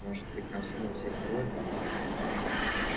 может быть нам снова взять робби